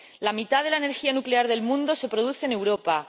La mitad de la energía nuclear del mundo se produce en Europa.